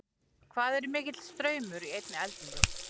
Hvað er mikill straumur í einni eldingu?